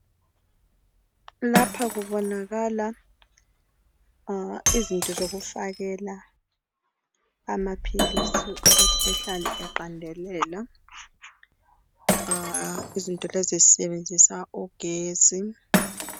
Lapha kubonakala izinto zokufakela amaphilisi ukuthi ehlale eqandelela izinto lezi zisebenzisa ugesi.